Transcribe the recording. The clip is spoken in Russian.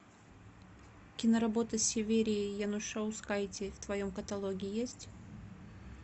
киноработа с северией янушаускайте в твоем каталоге есть